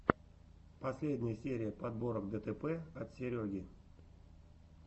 последняя серия подборок дэтэпэ от сереги